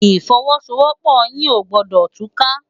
Ifòwòsówòpò yi ógbòdò túká